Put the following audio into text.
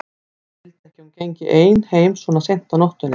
Hann vildi ekki að hún gengi ein heim svona seint á nóttunni.